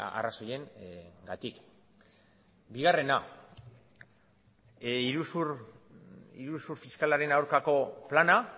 arrazoiengatik bigarrena iruzur fiskalaren aurkako plana